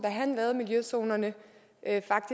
lavede miljøzonerne